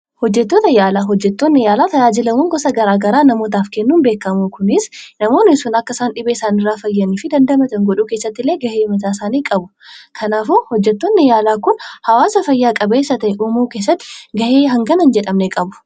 Hojjettoonni yaalaa yaala garagaraa namaaf kennuun beekkamu. Kunis namoonni dhibee issaniirra akka isaan fayyanii fi dandamatan gochuu keessatti gahee guddaa godha. Kanaafuu hojjettoonni yaalaa kun hawaasa fayyaa qabeessa uumuu keessatti gahee guddaa qabu.